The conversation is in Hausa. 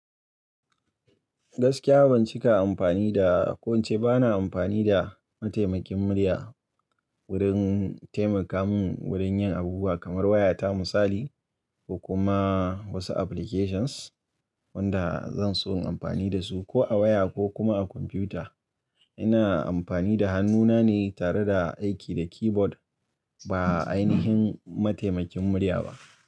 Gaskiya ban cika amfani da ko ce ba na amfani da mataimakin murya wurin taimaka mun wurin yin abubuwa kamar wayata misali ko kuma wasu applications wanda zan so in amfani da su ko a waya ko kuma a kwamfuta. Ina amfani da hannuna ne tare da aiki da keyboard ba a aini him mataimakin murya ba.